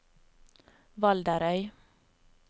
Valderøy